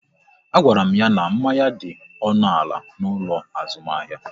A gwara m ya n'manya dị ọnụ ala n'ụlọ azụmahịa